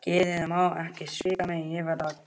Geðið má ekki svíkja mig, ég verð að gæta mín.